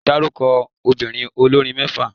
Dárúkọ obìnrin olórin mẹ́fà.